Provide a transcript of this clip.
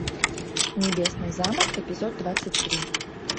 небесный замок эпизод двадцать три